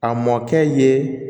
A mɔkɛ ye